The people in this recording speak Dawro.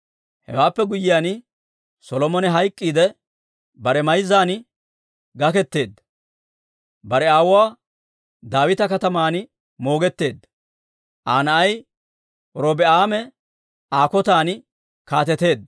Hewaappe guyyiyaan Solomone hayk'k'iidde, bare mayzzan gaketeedda; bare aawuwaa Daawita Kataman moogetteedda. Aa na'ay Robi'aame Aa kotan kaateteedda.